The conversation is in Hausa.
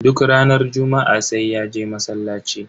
Duk ranar juma'a sai ya je masallaci.